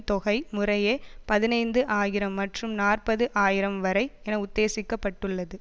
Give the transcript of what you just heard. தொகை முறையே பதினைந்து ஆயிரம் மற்றும் நாற்பது ஆயிரம் வரை என உத்தேசிக்கப்பட்டுள்ளது